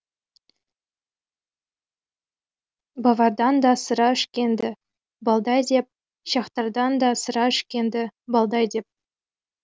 бавардан да сыра ішкен ді балдай деп чехтардан да сыра ішкен ді балдай деп